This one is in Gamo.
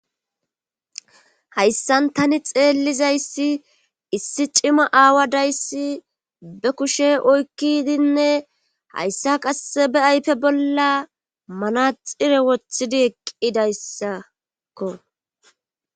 hayssan tani xeellizayssi issi cima aawa dayssi be kushe oykkidinne hayssa qasse be aype bolla manaxire wothidi eqqidayssakko